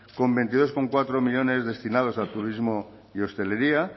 con veintidós coma cuatro millónes destinados a turismo y hostelería